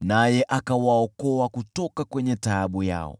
naye akawaokoa kutoka taabu yao.